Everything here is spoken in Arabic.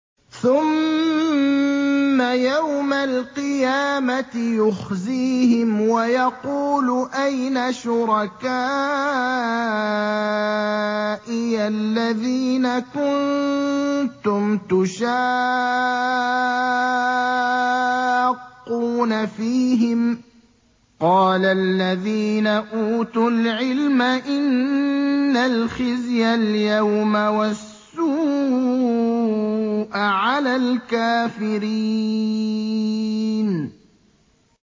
ثُمَّ يَوْمَ الْقِيَامَةِ يُخْزِيهِمْ وَيَقُولُ أَيْنَ شُرَكَائِيَ الَّذِينَ كُنتُمْ تُشَاقُّونَ فِيهِمْ ۚ قَالَ الَّذِينَ أُوتُوا الْعِلْمَ إِنَّ الْخِزْيَ الْيَوْمَ وَالسُّوءَ عَلَى الْكَافِرِينَ